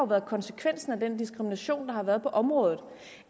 været konsekvensen af den diskrimination der har været på området